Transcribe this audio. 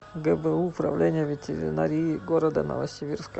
гбу управление ветеринарии города новосибирска